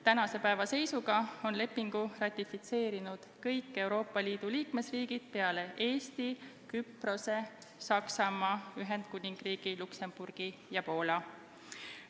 Tänase päeva seisuga on lepingu ratifitseerinud kõik Euroopa Liidu liikmesriigid peale Eesti, Küprose, Saksamaa, Ühendkuningriigi, Luksemburgi ja Poola.